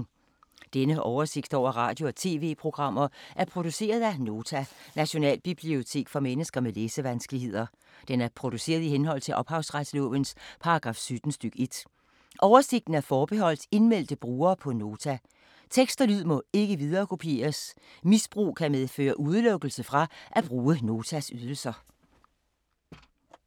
Denne oversigt over radio og TV-programmer er produceret af Nota, Nationalbibliotek for mennesker med læsevanskeligheder. Den er produceret i henhold til ophavsretslovens paragraf 17 stk. 1. Oversigten er forbeholdt indmeldte brugere på Nota. Tekst og lyd må ikke viderekopieres. Misbrug kan medføre udelukkelse fra at bruge Notas ydelser.